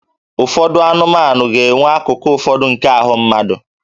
Ụfọdụ anụmanụ ga-enwe akụkụ ụfọdụ nke ahụ mmadụ